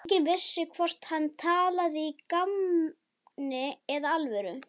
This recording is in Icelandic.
Enginn vissi hvort hann talaði í gamni eða alvöru.